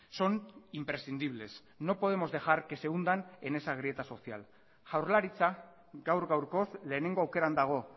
son imprescindibles no podemos dejar que se hundan en esa grieta social jaurlaritza gaur gaurkoz lehenengo aukeran dago